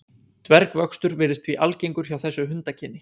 dvergvöxtur virðist því algengur hjá þessu hundakyni